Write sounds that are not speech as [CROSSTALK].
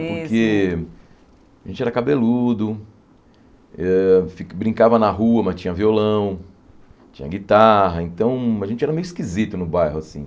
[UNINTELLIGIBLE] Porque a gente era cabeludo, eh brincava na rua, mas tinha violão, tinha guitarra, então a gente era meio esquisito no bairro, assim.